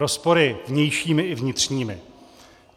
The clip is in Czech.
Rozpory vnějšími i vnitřními.